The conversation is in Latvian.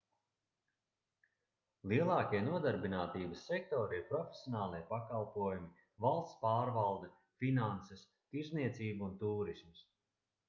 lielākie nodarbinātības sektori ir profesionālie pakalpojumi valsts pārvalde finanses tirdzniecība un tūrisms